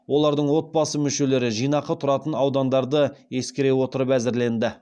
олардың отбасы мүшелері жинақы тұратын аудандарды ескере отырып әзірленді